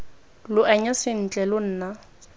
lo anya sentle lo nna